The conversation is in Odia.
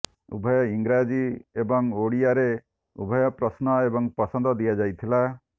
ଉଭୟ ଇଂରାଜୀ ଏବଂ ଓଡ଼ିଆରେ ଉଭୟ ପ୍ରଶ୍ନ ଏବଂ ପସନ୍ଦ ଦିଆଯାଇଥିଲା